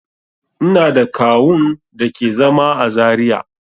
Ina da kawu'n da ke zama à Zaria.